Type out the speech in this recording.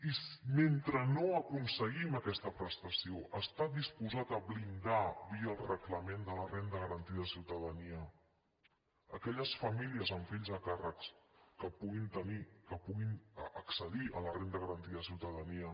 i mentre no aconseguim aquesta prestació està disposat a blindar via el reglament de la renda garantida de ciutadania aquelles famílies amb fills a càrrec que puguin tenir que puguin accedir a la renda garantida de ciutadania